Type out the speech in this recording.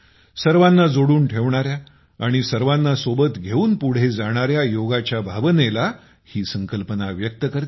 सर्वांना जोडून ठेवणाऱ्या आणि सर्वांना सोबत घेऊन पुढे जाणाऱ्या योगाच्या भावनेला ही संकल्पना व्यक्त करते